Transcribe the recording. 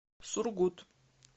сургут